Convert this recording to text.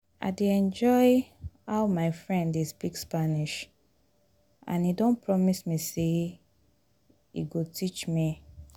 i dey enjoy how my friend dey speak spanish and he don promise me say he go teach me